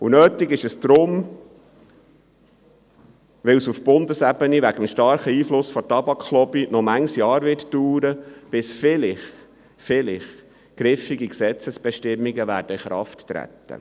Das ist notwendig, weil es auf Bundesebene aufgrund des starken Einflusses der Tabaklobby noch viele Jahre dauern wird, bis vielleicht griffige Gesetzesbestimmungen in Kraft treten.